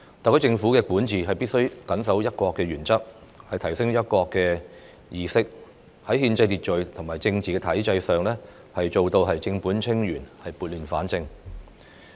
特區政府的管治必須緊守"一國"的原則，提升"一國"的意識；在憲制秩序和政治體制上，做到正本清源、撥亂反正。